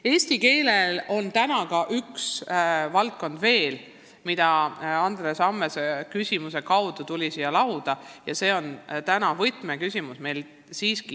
Eesti keelega on täna seotud veel üks valdkond, mis tõsteti lauale Andres Ammase küsimusega, ja see on täna üks võtmeküsimusi.